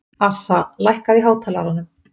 Assa, lækkaðu í hátalaranum.